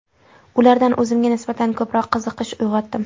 Ularda o‘zimga nisbatan ko‘proq qiziqish uyg‘otdim.